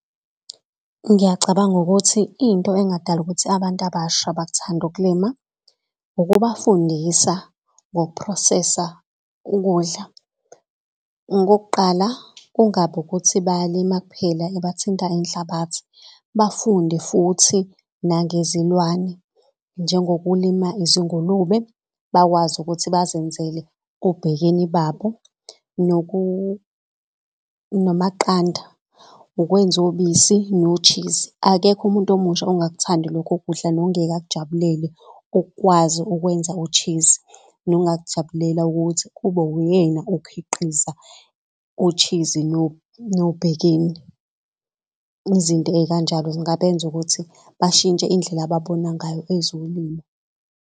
Ngiyacabanga ukuthi into engadala ukuthi abantu abasha bakuthande ukulima ukubafundisa ngoku-process-a ukudla. Okokuqala kungabi ukuthi bayalima kuphela bathinta inhlabathi bafunde futhi nangezilwane. Njengokulima izingulube bakwazi ukuthi bazenzele obhekeni babo namaqanda ukwenza ubisi no-cheese. Akekho umuntu omusha ongakuthandi lokho kudla nongeke akujabulele ukukwazi ukwenza ushizi. Nongakujabulela ukuthi kube uyena okhiqiza ushizi nobhekeni. Izinto ey'kanjalo zingabenza ukuthi bashintshe indlela ababona ngayo ezolimo.